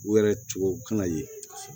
U yɛrɛ tubabuw kana ye